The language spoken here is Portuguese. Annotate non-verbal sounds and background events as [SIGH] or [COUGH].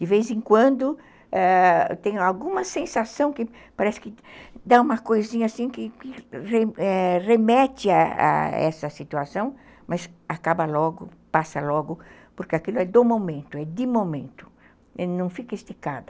De vez em quando tem alguma sensação que parece que dá uma coisinha assim [UNINTELLIGIBLE] que remete a essa situação, mas acaba logo, passa logo, porque aquilo é do momento, é de momento, não fica esticada.